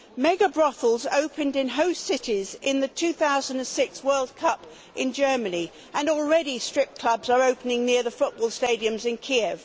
Mega brothels opened in host cities in the 2006 World Cup in Germany, and already strip clubs are opening near the football stadiums in Kiev.